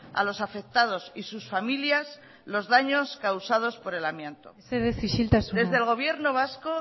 a los afectados y sus familias los daños causados por el amianto mesedez isiltasuna desde el gobierno vasco